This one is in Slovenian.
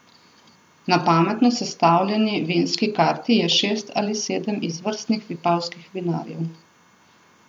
Na pametno sestavljeni vinski karti je šest ali sedem izvrstnih vipavskih vinarjev.